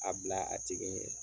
A bila a tigɛɛɛ.